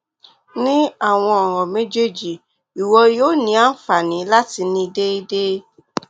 ni awọn ọran mejeeji iwọ yoo ni anfani lati ni deede